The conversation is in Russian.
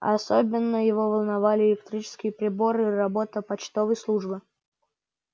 особенно его волновали электрические приборы и работа почтовой службы